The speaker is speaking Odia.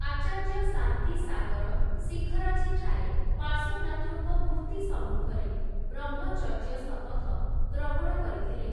ଆଚାର୍ଯ୍ୟ ଶାନ୍ତିସାଗର ଶିଖରଜୀ ଠାରେ ପାର୍ଶ୍ୱନାଥଙ୍କ ମୂର୍ତ୍ତି ସମ୍ମୁଖରେ ବ୍ରହ୍ମଚର୍ଯ୍ୟ ଶପଥ ଗ୍ରହଣ କରିଥିଲେ ।